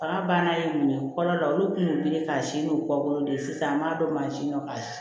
Bagan banna u minɛ kɔlɔn la olu kun bɛ wele k'a si n'u kɔ bolo de sisan an b'a dɔn mansin dɔ kan